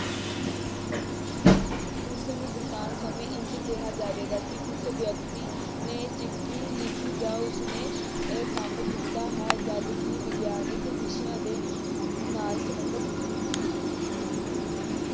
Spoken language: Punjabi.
ਉਸਨੂੰ ਬਿਰਤਾਂਤ ਸਮੇਂ ਇੱਝ ਕਿਹਾ ਜਾਵੇਗਾ ਕਿ ਉਸ ਵਿਅਕਤੀ ਨੇ ਚਿੱਠੀ ਲਿਖੀ ਜਾਂ ਉਸਨੇ ਇਹ ਕੰਮ ਕੀਤਾ ਹੈ ਜਦਕਿ ਵਿਗਿਆਨਕ ਵਿਸ਼ਿਆਂ ਦੇ ਨਾਲ ਸੰਬੰਧਿਤ